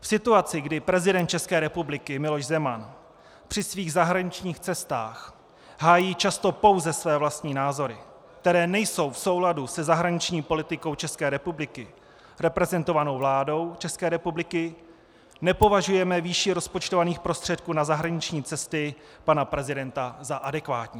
V situaci, kdy prezident České republiky Miloš Zeman při svých zahraničních cestách hájí často pouze své vlastní názory, které nejsou v souladu se zahraniční politikou České republiky reprezentovanou vládou České republiky, nepovažujeme výši rozpočtovaných prostředků na zahraniční cesty pana prezidenta za adekvátní.